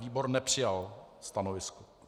Výbor nepřijal stanovisko.